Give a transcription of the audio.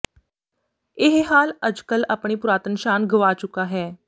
ਇਹ ਹਾਲ ਅੱਜ ਕੱਲ੍ਹ ਆਪਣੀ ਪੁਰਾਤਨ ਸ਼ਾਨ ਗਵਾ ਚੁੱਕਾ ਹੈ